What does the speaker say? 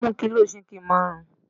Mú kilo ṣíkìn marun!